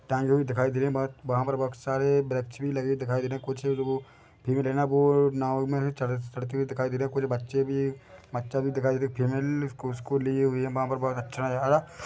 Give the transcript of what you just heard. टाँगे भी दिखाई दे रहे है बट वहाँ पे बहुत सारे वृक्ष भी लगे दिखाई दे रहे है कुछ लोग भीड़ हैं ना वो नाव मे चढ़ते चढ़ते हुए दिखाई दे रहे है कुछ बच्चे भी बच्चा भी दिखाई दे रहा है फीमेल कोस्को लिए हुए वहाँ पर बहुत अच्छा नजारा--